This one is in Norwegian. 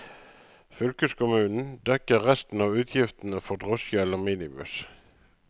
Fylkeskommunen dekker resten av utgiftene for drosje eller minibuss.